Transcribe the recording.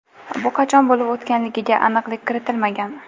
Bu qachon bo‘lib o‘tganligiga aniqlik kiritilmagan.